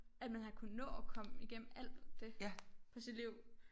At man har kunnet nå at komme igennem alt det på sit liv